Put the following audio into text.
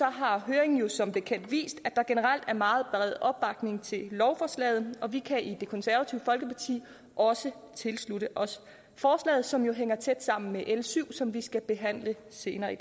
har høringen som bekendt vist at der generelt er meget bred opbakning til lovforslaget og vi kan i det konservative folkeparti også tilslutte os forslaget som jo hænger tæt sammen med l syv som vi skal behandle senere